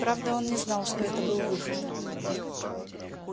правда он не знал что это был выход